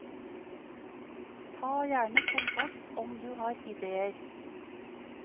Ta gjerne kontakt om du har ideer.